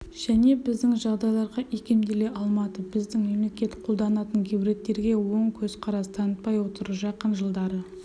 және біздің жағдайларға икемделе алмады біздің мемлекет қолданатын гибридтерге оң көзқарас танытпай отыр жақын жылдары